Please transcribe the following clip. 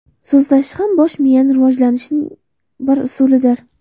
So‘zlashish ham bosh miyani rivojlantirishning bir usulidir.